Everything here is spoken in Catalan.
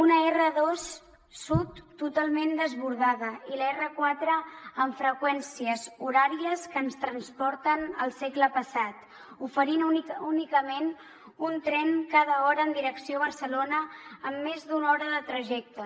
una r2 sud totalment desbordada i la r4 amb freqüències horàries que ens transporten al segle passat oferint únicament un tren cada hora en direcció barcelona amb més d’una hora de trajecte